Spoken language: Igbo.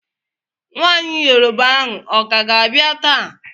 Nwaanyị Yoroba ahụ ọka ga-abịa taa?